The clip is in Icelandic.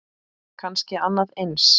Kannski annað eins.